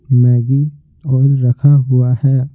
Maggi oil रखा हुआ है।